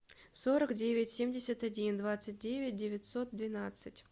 сорок девять семьдесят один двадцать девять девятьсот двенадцать